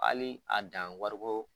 Hali a dan wari bɔ